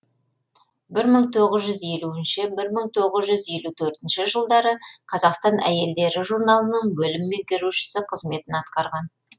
бір мың тоғыз жүз елуінші бір мың тоғыз жүз елу төртінші жылдары қазақстан әйелдері журналының бөлім меңгерушісі қызметін атқарған